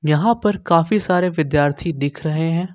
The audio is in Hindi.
यहां पर काफी सारे विद्यार्थी दिख रहे हैं।